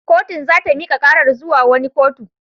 Kotun za ta mika karar zuwa wani kotu.